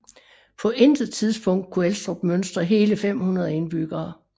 På det tidspunkt kunne Elstrup mønstre hele 500 indbyggere